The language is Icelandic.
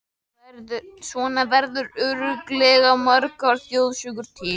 Svona verða örugglega margar þjóðsögurnar til.